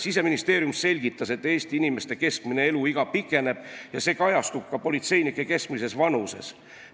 Siseministeeriumi esindaja selgitas, et Eesti inimeste keskmine eluiga pikeneb ja see kajastub ka politseinike keskmises vanuses.